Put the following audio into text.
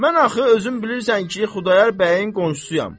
Mən axı özüm bilirsən ki, Xudayar bəyin qonşusuyam.